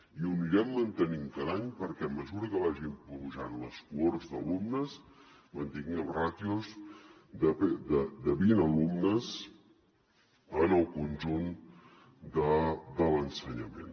i ho anirem mantenint cada any perquè a mesura que vagin pujant les cohorts d’alumnes mantinguem ràtios de vint alumnes en el conjunt de l’ensenyament